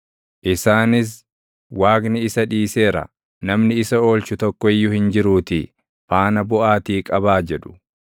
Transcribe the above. Isaanis, “Waaqni isa dhiiseera; namni isa oolchu tokko iyyuu hin jiruutii faana buʼaatii qabaa” jedhu.